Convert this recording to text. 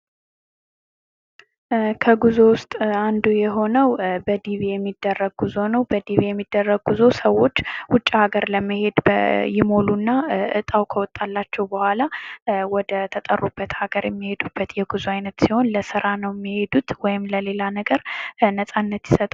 ከጉዞ ዉስጥ አንዱ የሆነዉ በዳቪ የሚደረግ ጉዞ ነዉ። በዲቪ የሚደረግ ጉዞ ሰዎች ዉጭ ሀገር ለመሄድ ይሞሉና እጣዉ ከወጣላቸዉ በኋላ ወደ ተጠሩበት አገር የሚሄዱበት የጉዞ አይነት ሲሆን ለስራ ነዉ የሚሄዱት ወይም ለሌላ ነገር ነፃነት ይሰጣል።